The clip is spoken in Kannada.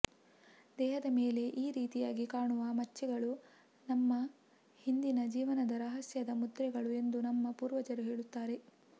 ದೇಹದ ಮೇಲೆ ಈ ರೀತಿಯಾಗಿ ಕಾಣುವ ಮಚ್ಚೆಗಳು ನಮ್ಮ ಹಿಂದಿನ ಜೀವನದ ರಹಸ್ಯದ ಮುದ್ರೆಗಳು ಎಂದು ನಮ್ಮ ಪೂರ್ವಜರು ಹೇಳುತ್ತಾರೆ